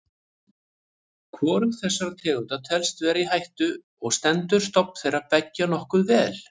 Hvorug þessara tegunda telst vera í hættu og stendur stofn þeirra beggja nokkuð vel.